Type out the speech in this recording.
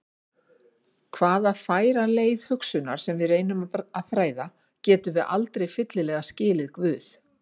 Hvaða færa leið hugsunar sem við reynum að þræða, getum við aldrei fyllilega skilið Guð.